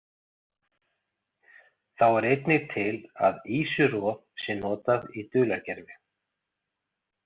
Þá er einnig til að ýsuroð sé notað í dulargervi.